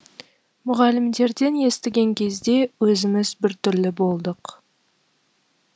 мұғалімдерден естіген кезде өзіміз біртүрлі болдық